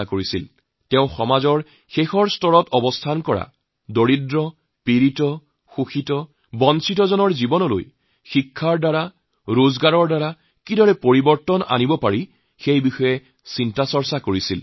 দীনদয়ালজীয়ে সমাজৰ অতি নিম্ন পৰ্যায়ৰ দুখীয়া পীড়িত শোষিত বঞ্চিত জনসাধাৰণৰ জীৱনত পৰিৱৰ্তন অনাৰ কথা কৈছিল শিক্ষা আৰু উপাৰ্জনৰ জৰিয়তে কেনেকৈ তাৰ পৰিৱৰ্তন কৰিব পাৰি সেই বিষয়ে আলাপ আলোচনা কৰিছিল